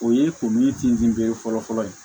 O ye kun min tin bere fɔlɔfɔlɔ ye